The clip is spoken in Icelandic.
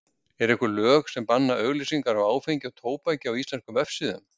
Eru einhver lög sem banna auglýsingar á áfengi og tóbaki á íslenskum vefsíðum?